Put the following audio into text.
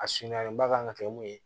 A sunalen ba kan ka kɛ mun ye